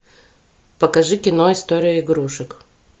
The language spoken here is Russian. покажи кино история игрушек